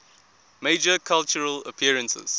major cultural appearances